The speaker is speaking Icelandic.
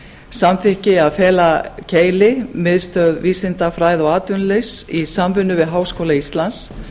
samþykki að fela keili miðstöð vísindafræða og atvinnulífs í samvinnu við háskóla íslands